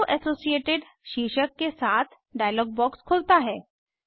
अरो associated शीर्षक के साथ डायलॉग बॉक्स खुलता है